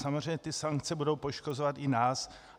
Samozřejmě ty sankce budou poškozovat i nás.